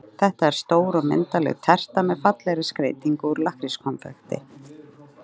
Þetta er stór og myndarleg terta með fallegri skreytingu úr lakkrískonfekti.